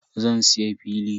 Zan siya fili.